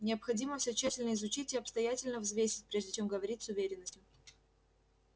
необходимо всё тщательно изучить и обстоятельно взвесить прежде чем говорить с уверенностью